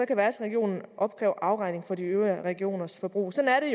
kan værtsregionen opkræve afregning for de øvrige regioners forbrug sådan er